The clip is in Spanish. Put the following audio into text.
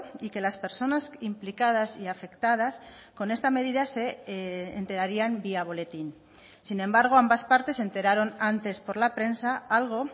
y que las personas implicadas y afectadas con esta medida se enterarían vía boletín sin embargo ambas partes se enteraron antes por la prensa algo